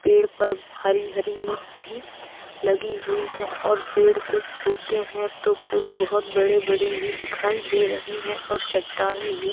पेड़ पर हरी-हरी लीव्स भी लगी हुई हैं और पेड़ कुछ छोटे हैं तो कुछ बहुत बड़े-बड़े भी दिखाई दे रहे हैं और चट्टाने भी --